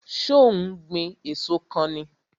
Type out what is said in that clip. So ó ń gbìn èso kan ni?